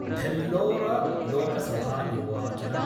भेल्लौरलोकसभानिर्वाचनम्